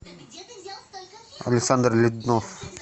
александр леднов